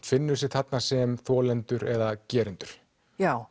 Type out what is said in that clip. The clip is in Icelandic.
finnur sig þarna sem annað þolendur eða gerendur já